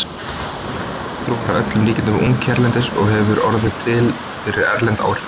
Umrædd hjátrú er að öllum líkindum ung hérlendis og hefur orðið til fyrir erlend áhrif.